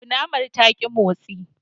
Kunamar ta ki motsi.